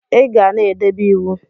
Iga na edebe iwu!!